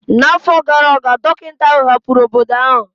N'afọ gara aga, dọkịta ahụ hapụrụ obodo ahụ.